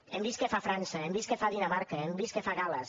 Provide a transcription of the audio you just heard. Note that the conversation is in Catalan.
hem vist què fa frança hem vist què fa dinamarca hem vist què fa gal·les